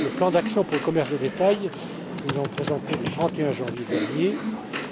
Le plan d'action pour le commerce de détail, que nous avons présenté le 31 janvier dernier,